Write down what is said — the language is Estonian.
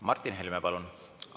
Martin Helme, palun!